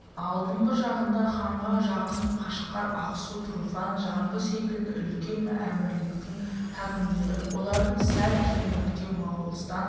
алдыңғы жағында ханға жақын қашқар ақсу тұрфан жаңғы секілді үлкен әмірліктің хакімдері олардан сәл кейініректеу моғолстан